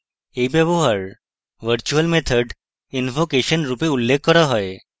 এই ব্যবহার virtual method invocation রূপে উল্লেখ করা হয়